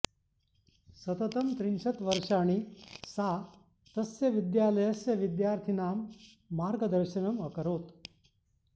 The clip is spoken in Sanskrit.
सततं त्रिंशत् वर्षाणि सा तस्य विद्यालयस्य विद्यार्थिनां मार्गदर्शनम् अकरोत्